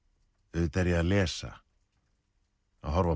auðvitað er ég að lesa að horfa